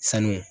Sanu